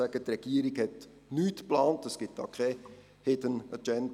Die Regierung hat nichts im Hinterkopf geplant, es gibt keine «Hidden Agenda».